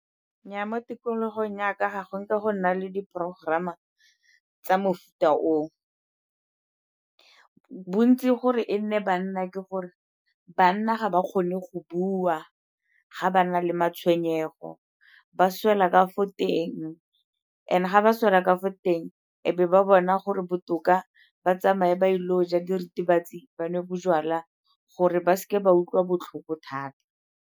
Nnyaa, mo tikologong ya ka ga go nke go nna le di-program-a tsa mofuta oo. Bontsi gore e nne banna ke gore banna ga ba kgone go bua ga ba na le matshwenyego, ba swela ka fo teng. And-e ga ba swela ka fo teng e be ba bona gore botoka ba tsamaye ba ile go ja diritibatsi, ba nwe bojalwa gore ba seke ba utlwa botlhoko thata.